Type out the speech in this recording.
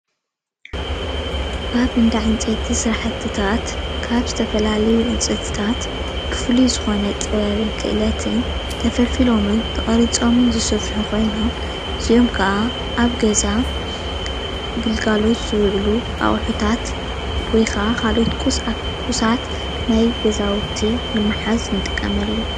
ኣብ እብዳ ዕንጨይቲ ስራሕቲታት ካብ ዝተፈላለዩ ዕንፀይትታት ብፍሉይ ዝኮነ ጥበብን ክእለትን ተፈልፊሎምን ተቀሪፆምን ዝስርሑ ኮይኖም እዚኦም ከኣ እብ ገዛ ግልጋሎት ዝዉዕሉ ኣቁሑታት ወይ ካልኦት ቁሳት ናይ ገዛዉቲ ንምሕዝ ንጥቀመሉ ።